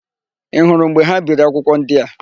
Ị hụrụ mgbe ha biri akwụkwọ ndị a?